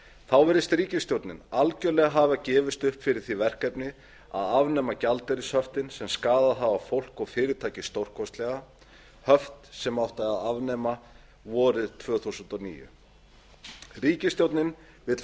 þá virðist ríkisstjórnin algerlega hafa gefist upp fyrir því verkefni að afnema gjaldeyrishöftin sem skaðað hafa fólk og fyrirtæki stórkostlega höft sem átti að afnema vorið tvö þúsund og níu ríkisstjórnin vill